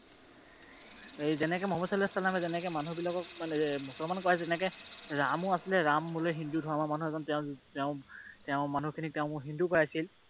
সেই যেনেকৈ মোহাম্মদ ছাল্লাল্লাহু ছাল্লামে যেনেকৈ মানুহবিলাকক মুসলমান বনাইছে যেনেকৈ ৰাম আছিলে, ৰামও বোলে হিন্দু ধৰ্মৰ মানুহ এজন তেওঁ মানুহখিনিক তেওঁ হিন্দু কৰাইছিল।